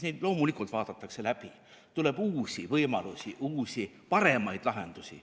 Neid loomulikult vaadatakse läbi, tuleb uusi võimalusi, uusi, paremaid lahendusi.